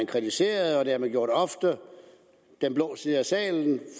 kritiserede og det har man gjort ofte den blå side af salen